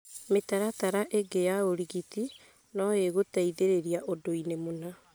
Mĩtaratara ĩngĩ ya ũrigitani no ĩgũteithie ũndũ-inĩ mũna